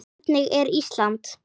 Hvernig er Ísland?